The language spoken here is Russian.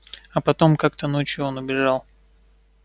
а потом как-то ночью он убежал